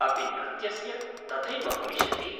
अपि नृत्यस्य तथैव भविष्यति?